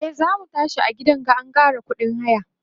e zamu tashi a gidan ga an Kara ƙuɗin haya